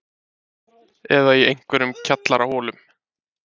Eða í einhverjum kjallaraholum?